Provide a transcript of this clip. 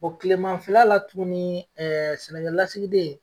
O kileman fɛla la tuguni sɛnɛkɛlasigiden